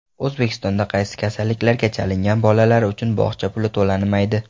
O‘zbekistonda qaysi kasalliklarga chalingan bolalar uchun bog‘cha puli to‘lanmaydi?.